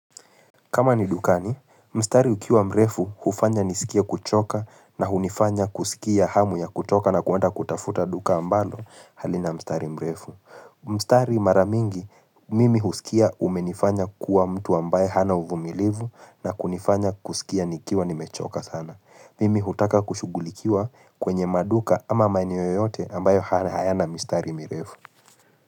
Kama ni dukani, mstari ukiwa mrefu hufanya nisikia kuchoka na hunifanya kusikia hamu ya kutoka na kuenda kutafuta duka ambalo halina mstari mrefu. Mstari maramingi, mimi husikia umenifanya kuwa mtu ambaye hana uvumilivu na kunifanya kusikia nikiwa nimechoka sana. Mimi hutaka kushugulikiwa kwenye maduka ama maeneo yoyote ambayo hana hayana mstari mrefu.